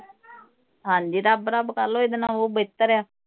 ਹਾਂ ਜੀ ਰੱਬ ਰੱਬ ਕਰ ਲਓ। ਇਹਦੇ ਨਾਲੋਂ ਉਹ ਬਿਹਤਰ ਹੈ।